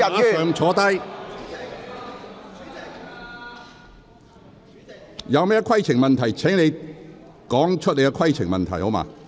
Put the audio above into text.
鄺議員，這並非規程問題，請你立即坐下。